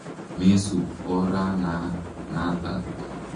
Me sup orana natak.